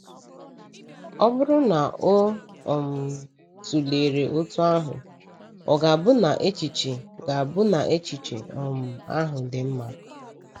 Ọ bụrụ na o um tụlere otú ahụ, ọ̀ ga-abụ na echiche ga-abụ na echiche um ahụ dị mma?